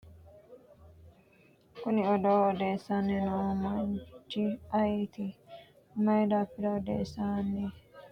kuni odoo odeessanni noo manchi ayeeti? mayi daafira odeessanni leellanno? kuni manchi uddirino uddano dani hiittooho? manchu konnira umu danachi mayiira waajjo ikkino?